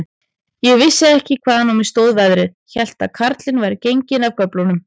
Ég vissi ekki, hvaðan á mig stóð veðrið, hélt að karlinn væri genginn af göflunum.